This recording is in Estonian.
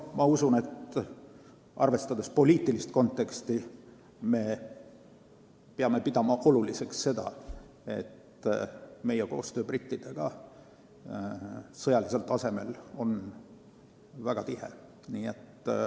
Ma usun, et arvestades poliitilist konteksti peame pidama oluliseks seda, et meie koostöö brittidega sõjalisel tasemel on väga tihe.